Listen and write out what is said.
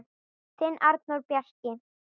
Þinn Arnór Bjarki.